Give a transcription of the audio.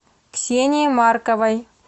ксении марковой